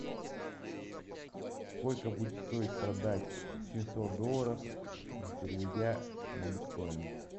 сколько будет стоить продать семьсот долларов переведя на биткоин